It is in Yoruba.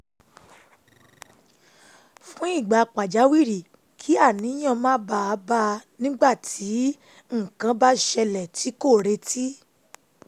fún ìgbà pàjáwìrì kí àníyàn má bàa bá a nígbà tí nǹkan bá ṣẹlẹ̀ tí kò retí